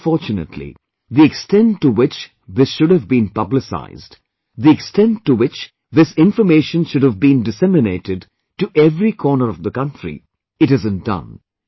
But unfortunately, the extent to which this should have been publicized, the extent to which this information should have been disseminated to every corner of the country, it isn't done